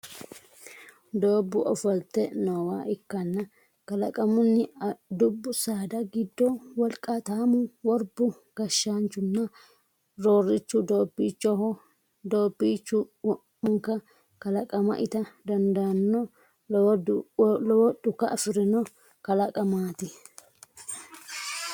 Doobbu ofolte noowa ikkanna kalaqamunni dubbu saada giddo wolqaataamu, worbu, gashshaanchunna roorrichu doobbiichoho. Doobbiichu wo'manka kalaqama ita dandaanno lowo dhuka afirino kalaqamaati.